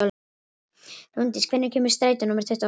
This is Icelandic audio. Rúndís, hvenær kemur strætó númer tuttugu og þrjú?